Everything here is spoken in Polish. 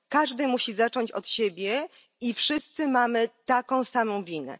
Każdy musi zacząć od siebie i wszyscy mamy taką samą winę.